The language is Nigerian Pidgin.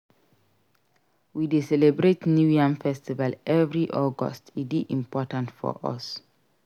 We dey celebrate New Yam Festival every August; e dey important for us.